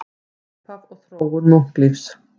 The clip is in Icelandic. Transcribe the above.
Upphaf og þróun munklífis